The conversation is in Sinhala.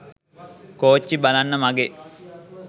කෝච්චි බලන්න මගේ